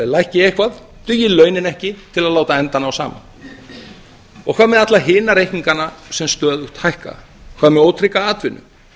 lækki eitthvað dugi launin ekki til að láta enda ná saman og hvað með alla hina reikningana sem stöðugt hækka hvað með ótrygga atvinnu